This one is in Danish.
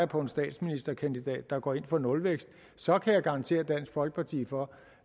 på en statsministerkandidat der går ind for nulvækst og så kan jeg garantere dansk folkeparti for